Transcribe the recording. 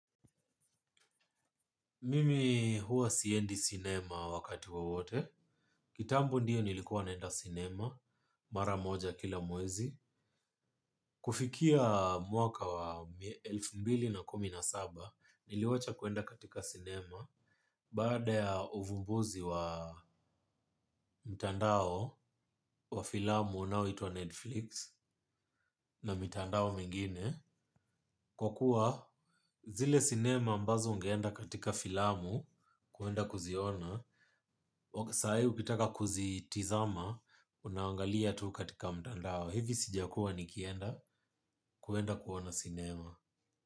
Mimi huwa siendi sinema wakati wowote, kitambo ndio nilikuwa naenda sinema, mara moja kila mwezi. Kufikia mwaka wa elfu mbili na kumi na saba, niliwacha kwenda katika sinema, baada ya uvumbuzi wa mtandao, wa filamu unaoitwa Netflix, na mitandao mingine. Kwa kuwa zile sinema ambazo ungeenda katika filamu kwenda kuziona. Saa hiii ukitaka kuzitizama unaangalia tu katika mtandao. Hivi sijakuwa nikienda kwenda kuona sinema.